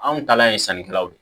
Anw talan ye sannikɛlaw de ye